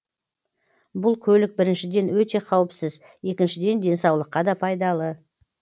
бұл көлік біріншіден өте қауіпсіз екіншіден денсаулыққа да пайдалы